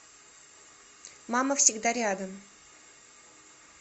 мама всегда рядом